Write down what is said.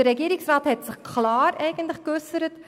Der Regierungsrat hat sich klar geäussert.